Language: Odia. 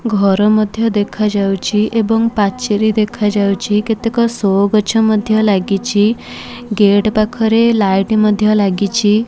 ଘର ମଧ୍ୟ ଦେଖା ଯାଉଛି ଏବଂ ପାଚେରୀ ଦେଖା ଯାଉଛି କେତେକ ଶୋ ଗଛ ମଧ୍ୟ ଲାଗିଛି ଗେଟ ପାଖରେ ଲାଇଟି ମଧ୍ୟ ଲାଗିଛି।